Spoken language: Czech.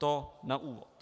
To na úvod.